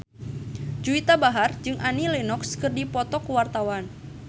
Juwita Bahar jeung Annie Lenox keur dipoto ku wartawan